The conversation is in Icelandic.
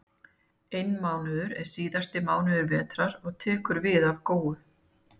Einmánuður er síðasti mánuður vetrar og tekur við af góu.